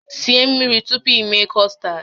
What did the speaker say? Sie mmiri tupu i mee kọstad!